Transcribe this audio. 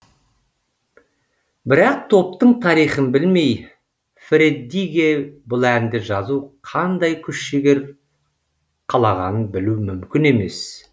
бірақ топтың тарихын білмей фреддиге бұл әнді жазу қандай күш жігер қалағанын білу мүмкін емес